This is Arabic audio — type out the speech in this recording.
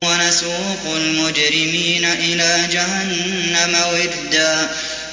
وَنَسُوقُ الْمُجْرِمِينَ إِلَىٰ جَهَنَّمَ وِرْدًا